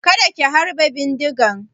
Kada ku harbe bindigar!